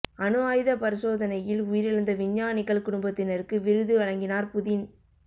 அணு ஆயுத பரிசோதனையில் உயிரிழந்த விஞ்ஞானிகள் குடும்பத்தினருக்கு விருது வழங்கினார் புதின்